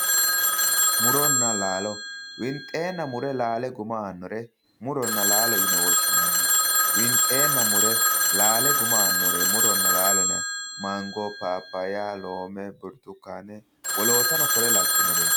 Murona laalo, winxenna mure laale guma aanore muronna laalo yine woshshinanni ,winxenna mure laale guma aanore murona laalo yineemmore Mango, Papaya ,Loome ,Burtukane woloottano kore labbinoreti.